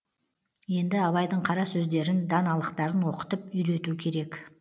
енді абайдың қара сөздерін даналықтарын оқытып үйрету керек